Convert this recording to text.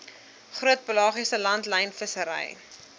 groot pelagiese langlynvissery